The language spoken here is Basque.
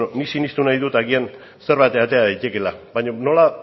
bueno nik sinestu nahi dut agian zerbait atera daitekeela baino nola